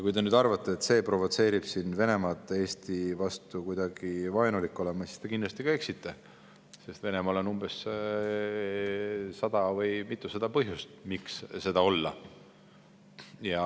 Kui te nüüd arvate, et see provotseerib siin Venemaad Eesti vastu kuidagi vaenulik olema, siis te kindlasti eksite, sest Venemaal on umbes sada või mitusada põhjust, miks seda olla.